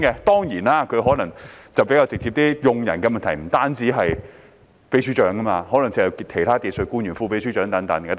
當然，他可能比較直接，而用人的問題亦不止關乎常任秘書長，還可能涉及其他技術官員例如副秘書長等。